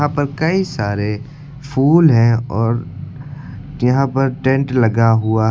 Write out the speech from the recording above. यहां पर कई सारे फूल हैं और यहां पर टेंट लगा हुआ--